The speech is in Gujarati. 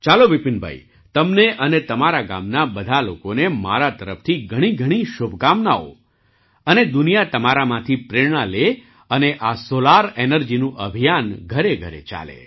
ચાલો વિપિનભાઈ તમને અને તમારા ગામના બધા લોકોને મારા તરફથી ઘણીઘણી શુભકામનાઓ અને દુનિયા તમારામાંથી પ્રેરણા લે અને આ સૉલાર એનર્જીનું અભિયાન ઘરેઘરે ચાલે